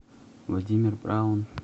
владимир браун